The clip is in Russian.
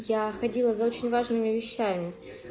я ходила за очень важными вещами